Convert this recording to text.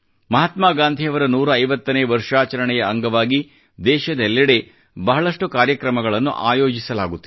ಮಹಾತ್ಮಾ ಗಾಂಧಿಯವರ 150 ನೇ ವರ್ಷಾಚರಣೆಯ ಅಂಗವಾಗಿ ದೇಶದೆಲ್ಲೆಡೆ ಬಹಳಷ್ಟು ಕಾರ್ಯಕ್ರಮಗಳನ್ನು ಆಯೋಜಿಸಲಾಗುತ್ತಿದೆ